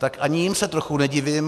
Tak se jim ani trochu nedivím.